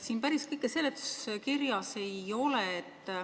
Päris kõike siin seletuskirjas ei ole.